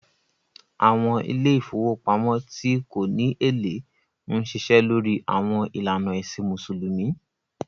Àwọn ilé ìfowópamọ́ tí kò ní èlé ń ṣiṣẹ́ lórí àwọn ìlànà ẹ̀sìn Mùsùlùmí